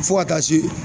Fo ka taa se